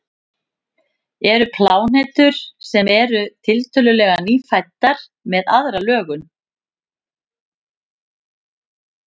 eru plánetur sem eru tiltölulega „nýfæddar“ með aðra lögun